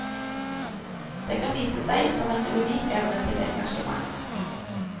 Den kan vise seg som en unik evne til engasjement.